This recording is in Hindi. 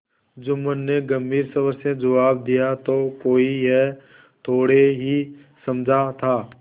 जुम्मन ने गम्भीर स्वर से जवाब दियातो कोई यह थोड़े ही समझा था